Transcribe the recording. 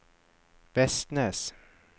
Vestnes